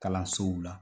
Kalansow la